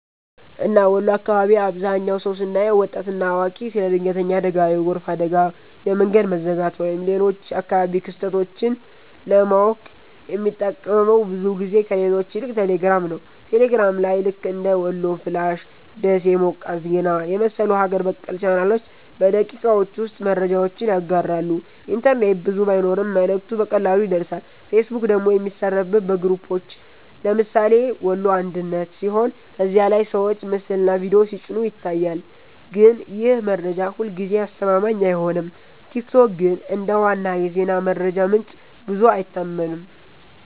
እና ወሎ አካባቢ አብዛህኛው ሰው ስናየው( ወጣት እና አዋቂ) ስለ ድንገተኛ አደጋ፣ የጎርፍ አደጋ፣ የመንገድ መዘጋት ወይም ሌሎች አካባቢያዊ ክስተቶች ለማወቅ የሚጠቀመው ብዙ ጊዜ ከሌሎች ይልቅ ቴሌግራም ነው። ቴሌግራም ላይ ልክ እንደ "ወሎ ፍላሽ''፣ “ደሴ ሞቃት ዜና” የመሰሉ ሀገር በቀል ቻናሎች በደቂቃዎች ውስጥ መረጃውን ያጋራሉ፤ ኢንተርኔት ብዙ ባይኖርም መልእክቱ በቀላሉ ይደርሳል። ፌስቡክ ደግሞ የሚሠራበት በግሩፖች (ለምሳሌ “ወሎ አንድነት”) ሲሆን ከዚያ ላይ ሰዎች ምስልና ቪዲዮ ሲጭኑ ይታያል፣ ግን ይህ መረጃ ሁልጊዜ አስተማማኝ አይሆንም። ቲክቶክ ግን እንደ ዋና የዜና መረጃ ምንጭ ብዙ አይታመንም።